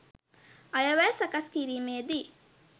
අයවැය සකස් කිරීමේදී